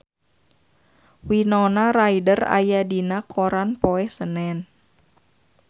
Winona Ryder aya dina koran poe Senen